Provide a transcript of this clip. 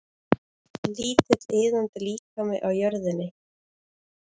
Lítill iðandi líkami á jörðinni.